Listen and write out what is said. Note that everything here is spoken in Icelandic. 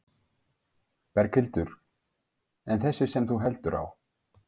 Berghildur: En þessi sem þú heldur á?